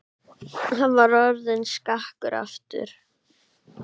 Hann var orðinn skakkur aftur.